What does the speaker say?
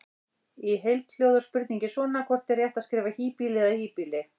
Í heild hljóðar spurningin svona: Hvort er rétt að skrifa híbýli eða hýbýli?